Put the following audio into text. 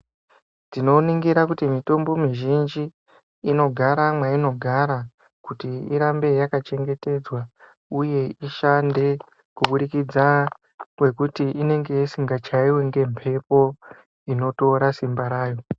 Tinoningira kuti mitombo mizhinji inogara mweinogara kuti irambe yakachengetedzwa uye ishande kuburikidza ngekuti inenge isingachaiwi ngemhepo inotora Simba raya.